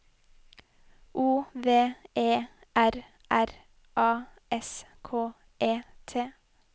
O V E R R A S K E T